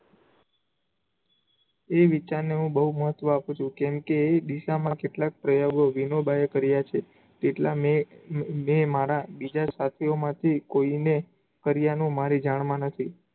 એ વિચારને ને હું બવ મહત્વ આપું છું. કેમ કે, એ દિશામાં કેટલાક પ્રયોગો વિનોબાંએ કર્યા છે, તેટલાં મેં મારા બીજા સાથીયોમાંથી કોઈ ને કર્યાનો મારી જાણમાં નથી.